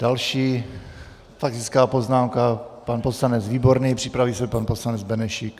Další faktická poznámka, pan poslanec Výborný, připraví se pan poslanec Benešík.